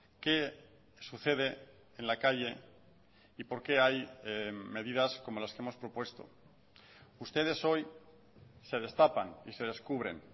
qué sucede en la calle y por qué hay medidas como las que hemos propuesto ustedes hoy se destapan y se descubren